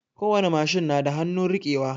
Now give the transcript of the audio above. Kowani machine na da hanun rike wa